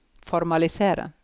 formalisere